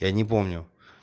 я не помню